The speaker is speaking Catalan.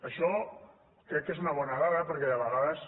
això crec que és una bona dada perquè de vegades